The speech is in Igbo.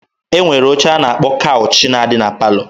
E nwere oche a na-akpọ kawụch na-adị na palọ.